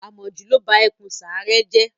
Àmọ̀jù ló ba ẹkùn sàáré jẹ́.